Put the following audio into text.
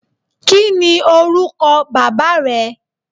Kí ni orúkọ baba rẹ?